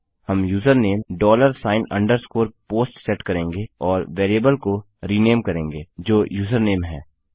हम username dollar sign underscore post set करेंगे और वेरिएबल को रिनेम करेंगे जो यूजरनेम है